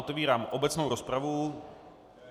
Otevírám obecnou rozpravu.